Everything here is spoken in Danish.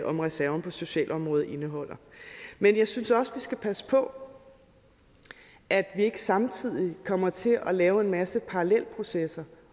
om reserven på socialområdet indeholder men jeg synes også at vi skal passe på at vi ikke samtidig kommer til at lave en masse parallelprocesser